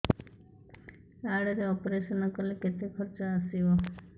card ରେ operation କଲେ କେତେ ଖର୍ଚ ଆସିବ